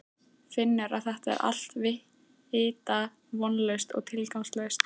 Finnur að þetta er allt vita vonlaust og tilgangslaust.